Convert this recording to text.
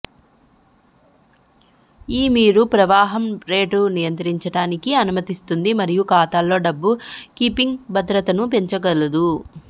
ఈ మీరు ప్రవాహం రేటు నియంత్రించడానికి అనుమతిస్తుంది మరియు ఖాతాలో డబ్బు కీపింగ్ భద్రతను పెంచగలదు